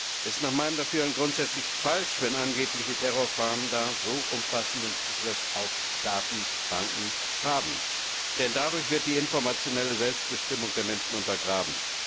Es ist nach meinem Dafürhalten grundsätzlich falsch, wenn angebliche Terrorfahnder so umfassenden Zugriff auf Datenbanken haben, denn dadurch wird die informationelle Selbstbestimmung der Menschen untergraben.